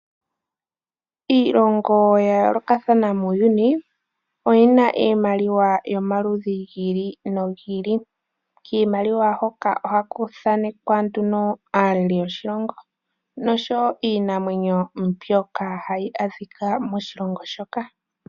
Iilongo ya yoolokathana muuyuni oyina iimaliwa yomaludhi gi ili nogi ili, kiimaliwa hoka ohaku thanekwa aalelei yoshilongo niinamwenyo mbyoka hayi adhika moshilongo shoka.